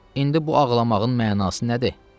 İndi bu ağlamağın mənası nədir?